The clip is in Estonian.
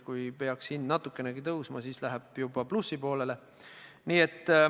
Kui hind peaks natukenegi tõusma, siis jõutakse juba plusspoolele.